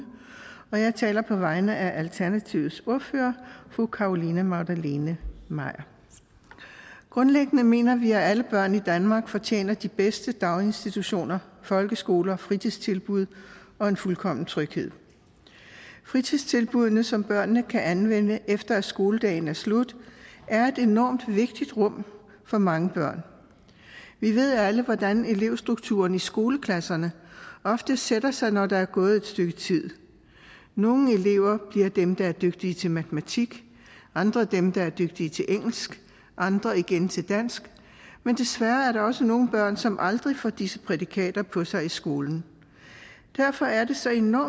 jeg taler på vegne af alternativets ordfører fru carolina magdalene maier grundlæggende mener vi at alle børn i danmark fortjener de bedste daginstitutioner folkeskoler fritidstilbud og en fuldkommen tryghed fritidstilbuddene som børnene kan anvende efter at skoledagen er slut er et enormt vigtigt rum for mange børn vi ved alle hvordan elevstrukturen i skoleklasserne ofte sætter sig når der er gået et stykke tid nogle elever bliver dem der er dygtige til matematik andre bliver dem der er dygtige til engelsk andre igen til dansk men desværre er der også nogle børn som aldrig får disse prædikater på sig i skolen derfor er det så enorm